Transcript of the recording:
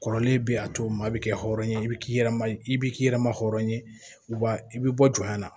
Kɔrɔlen bɛ a to maa bɛ kɛ hɔrɔnya ye i bi k'i yɛrɛ i bi k'i yɛrɛ ma hɔrɔn ye wa i bi bɔ jɔnya la